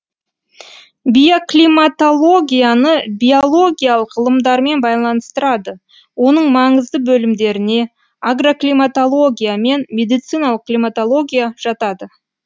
биоклиматологияны биологиялық ғылымдармен байланыстырады оның маңызды бөлімдеріне агроклиматология мен медициналық климатология жатады